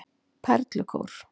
Perlukór